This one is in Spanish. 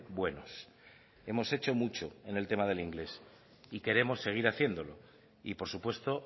buenos hemos hecho mucho en el tema del inglés y queremos seguir haciéndolo y por supuesto